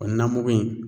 O namugu in